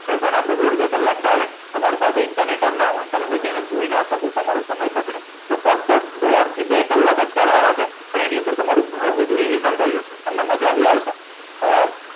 session આપડું દોડ બે કલાક ચાલે તમારી પાસે internet જ ના હોય તમે એને પછી જોઈ ના શકો તમારો સમય બગડે તો ફક્ત દોડ બે કલાક જ કાઢવાના છે અને બધું revision થઈ જશે અને મજાબી આવશે અ